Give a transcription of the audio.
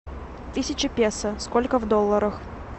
тысяча песо сколько в долларах